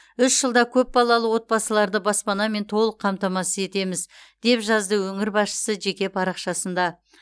үш жылда көпбалалы отбасыларды баспанамен толық қамтамасыз етеміз деп жазды өңір басшысы жеке парақшасында